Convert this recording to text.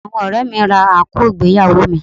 Àwọn ọ̀rẹ́ẹ̀ mi ra àǹkóò ìgbéyàwó mi.